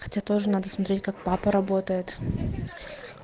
хотя тоже надо смотреть как папа работает